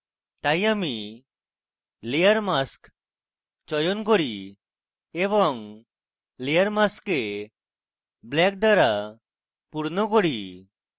তাই আমি layer mask চয়ন করি এবং layer mask black দ্বারা ভরি